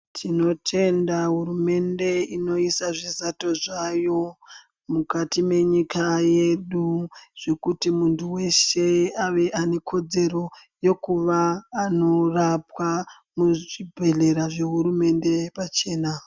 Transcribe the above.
Tinotenda hurumende inoisa zvizato zvayo mukati mwenyika yedu. Zvekuti muntu weshe ave anekodzero yekuva anorapwa muzvibhendlera zvehurumende pachena.